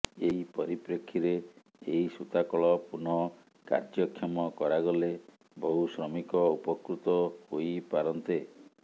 ଏହି ପରିପ୍ରେକ୍ଷୀରେ ଏହି ସୂତାକଳ ପୁନଃ କାର୍ଯ୍ୟକ୍ଷମ କରାଗଲେ ବହୁ ଶ୍ରମିକ ଉପକୃତ ହୋଇପାରନ୍ତେ